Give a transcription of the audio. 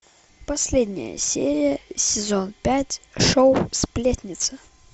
последняя серия сезон пять шоу сплетница